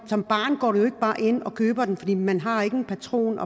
som barn går du jo ikke bare ind og køber dem for selv om man har en patron